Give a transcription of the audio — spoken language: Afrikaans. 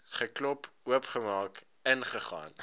geklop oopgemaak ingegaan